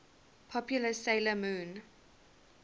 popular 'sailor moon